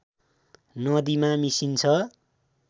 नदीमा मिसिन्छ